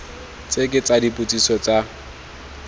tse ke tsa dipotsiso tsa